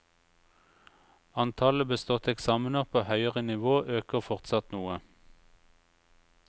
Antallet beståtte eksamener på høyere nivå øker fortsatt noe.